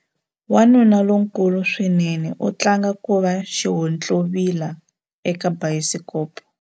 Wanuna lonkulu swinene u tlanga ku va xihontlovila eka bayisikopo.